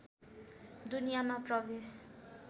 दुनियाँमा प्रवेश